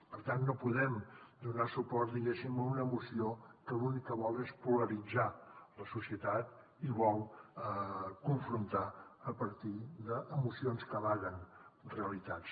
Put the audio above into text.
per tant no podem donar suport diguéssim a una moció que l’únic que vol és polaritzar la societat i vol confrontar a partir de mocions que amaguen realitats